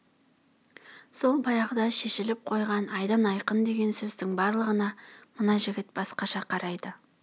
сол баяғыда шешіліп қойған айдан айқын деген сөздің барлығына мына жігіт басқаша қарайды